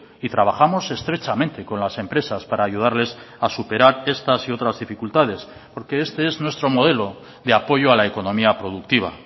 y trabajamos estrechamente con las empresas para ayudarles a superar estas y otras dificultades porque este es nuestro modelo de apoyo a la economía productiva